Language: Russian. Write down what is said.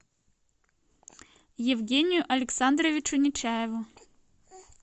евгению александровичу нечаеву